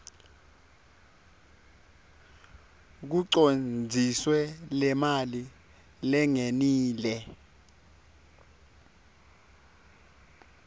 kucondziswe lemali lengenile